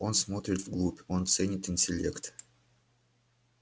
он смотрит вглубь он ценит интеллект